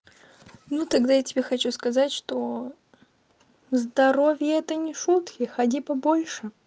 ну тогда я тебе хочу сказать что здоровье это не шутки ходи побольше